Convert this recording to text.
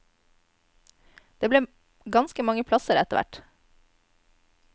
Det ble ganske mange plasser etterhvert.